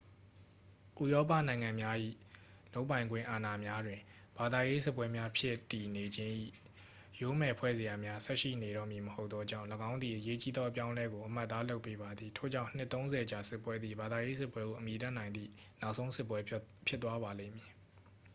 ဥရောပနိုင်ငံများ၏ လုပ်ပိုင်ခွင့်အာဏာများတွင် ဘာသာရေးစစ်ပွဲများဖြစ်တည်နေခြင်း၏ ယိုးမယ်ဖွဲ့စရာများ ဆက်ရှိနေတော့မည်မဟုတ်သောကြောင့် ၎င်းသည် အရေးကြီးသောအပြောင်းအလဲကို အမှတ်အသားလုပ်ပေးပါသည် ထို့ကြောင့် နှစ်သုံးဆယ်ကြာစစ်ပွဲသည် ဘာသာရေးစစ်ပွဲဟု အမည်တပ်နိုင်သည့် နောက်ဆုံးစစ်ပွဲ ဖြစ်သွားပါလိမ့်မည်